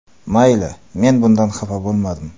Mayli, men bundan xafa bo‘lmadim.